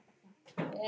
Björn: Hvers vegna?